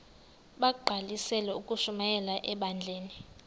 bagqalisele ukushumayela ebandleni